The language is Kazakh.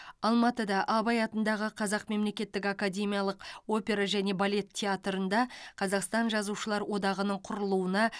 алматыда абай атындағы қазақ мемлекеттік академиялық опера және балет театрында қазақстан жазушылар одағының құрылуына